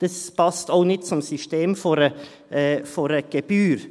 Das passt auch nicht zum System einer Gebühr.